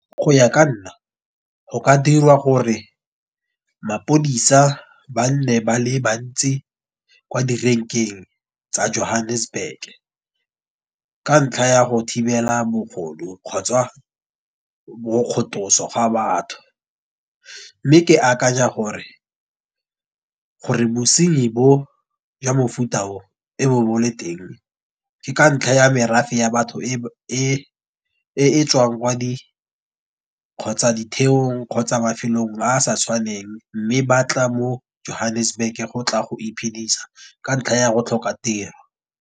Go ya ka nna go ka dirwa gore mapodisa ba nne ba le bantsi kwa direnkeng tsa Johannesburg. Ka ntlha ya go thibela bogodu kgotswa bo kgothoso ga batho. Mme ke akanya gore bosenyi bo jwa mofuta o, e bo bo le teng ke ka ntlha ya merafe ya batho e etswang kwa di kgotsa ditheong kgotsa mafelong ba sa tshwaneng mme ba tla mo Johannesburg go tla go iphedisa ka ntlha ya go tlhoka tiro.